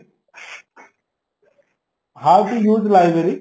how to you to library